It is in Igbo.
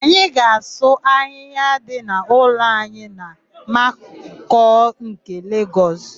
Anyị ga-asụ ahịhịa dị n'ụlọ anyị na Makoko nke Legọs.